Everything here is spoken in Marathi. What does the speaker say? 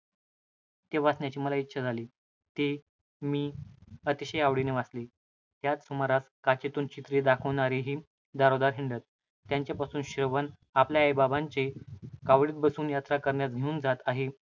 ते वाचण्याची मला इच्छा झाली. ते मी अतिशय आवडीने वाचले. त्याच सुमारास काचेतून चित्रे दाखविणारेही दारोदार हिंडत. त्यांच्यापासून श्रवण आपल्या आईबापांना कावडीत बसवून यात्रा करण्यास घेऊन जात आहे,